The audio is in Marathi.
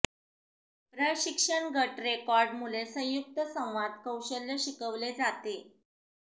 प्रशिक्षण गट रेकॉर्ड मुले संयुक्त संवाद कौशल्य शिकवले जाते